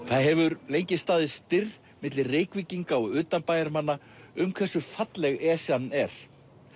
það hefur lengi staðið styr milli Reykvíkinga og utanbæjarmanna um hversu falleg Esjan er